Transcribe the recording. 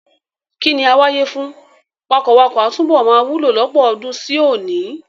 Ìkíni "àwàye" fún wakọ̀wakọ̀ a túbọ̀ máa wúlò lọ́pọ̀ ọdún sí òní.